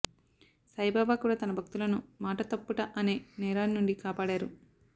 సాయిబాబా కూడా తన భక్తులను మాట తప్పుట అనే నేరాన్నుండి కాపాడారు